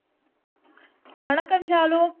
வணக்கம் ஷாலு